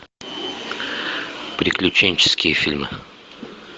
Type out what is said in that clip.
приключенческие фильмы